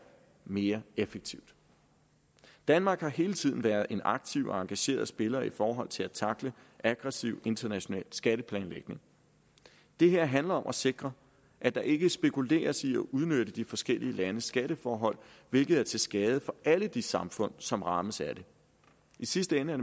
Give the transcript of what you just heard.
mere effektivt danmark har hele tiden været en aktiv og engageret spiller i forhold til at tackle aggressiv international skatteplanlægning det her handler om at sikre at der ikke spekuleres i at udnytte de forskellige landes skatteforhold hvilket er til skade for alle de samfund som rammes af det i sidste ende er